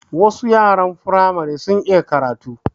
Wasu yaran Firamare sun iya karatu